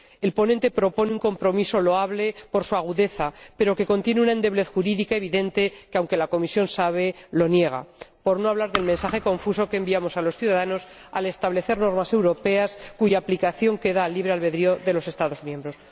El ponente propone una transacción loable por su agudeza, pero que contiene una endeblez jurídica evidente que, aunque la Comisión la conoce, la niega, por no hablar del mensaje confuso que enviamos a los ciudadanos al establecer normas europeas cuya aplicación queda al libre albedrío de los Estados miembros.